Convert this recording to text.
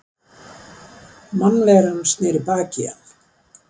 Mannveran sneri baki í hann.